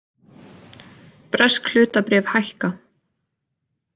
Bresk hlutabréf hækka